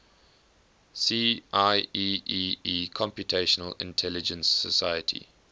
see ieee computational intelligence society